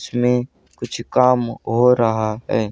इसमें कुछ काम हो रहा है।